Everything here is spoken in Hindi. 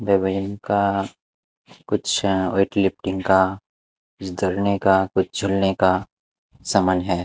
का कुछ वेट लिफ्टिंग का जड़ने का कुछ झुलने का समान है।